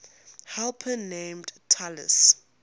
helper named talus